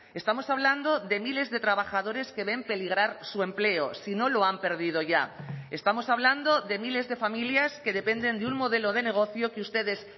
estamos hablando de miles de trabajadores que ven peligrar su empleo si no lo han perdido ya estamos hablando de miles de familias que dependen de un modelo de negocio que ustedes